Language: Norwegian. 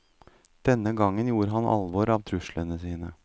Denne gangen gjorde han alvor av truslene sine.